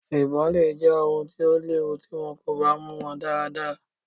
Ibon le jẹ ewu ti wọn ko ba mu wọn daradara.